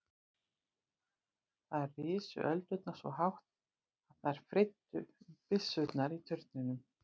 Þar risu öldurnar svo hátt að þær freyddu um byssurnar í turninum.